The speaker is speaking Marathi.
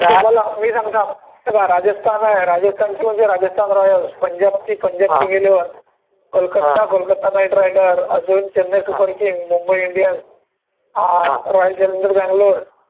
मी सांगतो थांब, हे पहा, राजस्थान आहे Rajasthan royal, Punjab, Punjab king eleven, Kolkata, Kolkata knight riders, अजून Chennai Chennai super king, Mumbai Indians, अं रॉयल चॅलेंजर्स बंगलोर